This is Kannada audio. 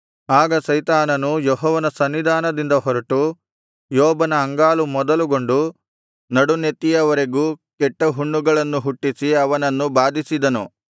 ಆಗ ಸೈತಾನನು ಯೆಹೋವನ ಸನ್ನಿಧಾನದಿಂದ ಹೊರಟು ಯೋಬನ ಅಂಗಾಲು ಮೊದಲುಗೊಂಡು ನಡುನೆತ್ತಿಯವರೆಗೂ ಕೆಟ್ಟ ಹುಣ್ಣುಗಳನ್ನು ಹುಟ್ಟಿಸಿ ಅವನನ್ನು ಬಾಧಿಸಿದನು